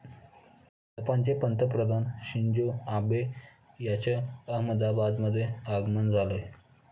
जपानचे पंतप्रधान Shinzo Abe यांचं अहमदाबादमध्ये आगमन झालंय.